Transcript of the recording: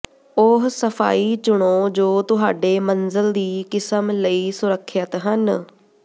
ਉਹ ਸਫਾਈ ਚੁਣੋ ਜੋ ਤੁਹਾਡੇ ਮੰਜ਼ਲ ਦੀ ਕਿਸਮ ਲਈ ਸੁਰੱਖਿਅਤ ਹਨ